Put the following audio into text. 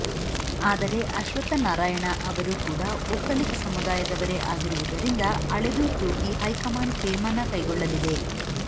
ಆದರೆ ಅಶ್ವತ್ಥನಾರಾಯಣ ಅವರು ಕೂಡ ಒಕ್ಕಲಿಗ ಸಮುದಾಯದವರೇ ಆಗಿರುವುದರಿಂದ ಅಳೆದು ತೂಗಿ ಹೈಕಮಾಂಡ್ ತೀರ್ಮಾನ ಕೈಗೊಳ್ಳಲಿದೆ